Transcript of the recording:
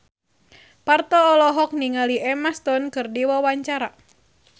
Parto olohok ningali Emma Stone keur diwawancara